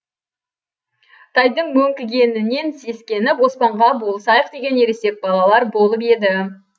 тайдың мөңкігенінен сескеніп оспанға болысайық деген ересек балалар болып еді